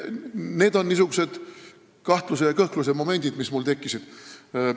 Need on niisugused kahtluse ja kõhkluse momendid, mis mul tekkisid.